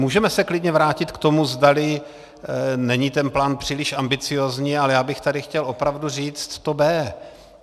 Můžeme se klidně vrátit k tomu, zdali není ten plán příliš ambiciózní, ale já bych tady chtěl opravdu říct to B.